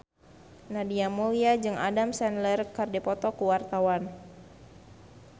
Nadia Mulya jeung Adam Sandler keur dipoto ku wartawan